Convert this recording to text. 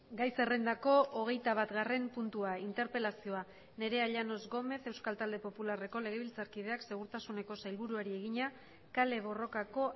gai zerrendako hogeita batgarren puntua interpelazioa nerea llanos gómez euskal talde popularreko legebiltzarkideak segurtasuneko sailburuari egina kale borrokako